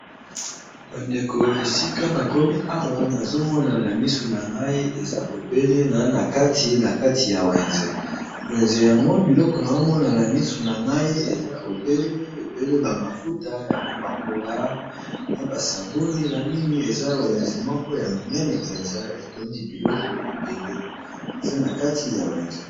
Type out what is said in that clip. Bandeko esika na komi awa nazo mona na misu na ngai eza obele na kati kati ya wenze wenze, yango biloko nazo mona na misu na ngai eza ebele, ebele ba mafuta ya kopakola na ba saboni ya mingi eza na wenze moko ya monene mpenza etondi biloko ebele eza na kati ya wenze.